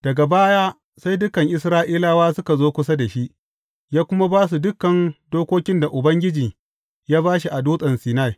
Daga baya sai dukan Isra’ilawa suka zo kusa da shi, ya kuma ba su dukan dokokin da Ubangiji ya ba shi a Dutsen Sinai.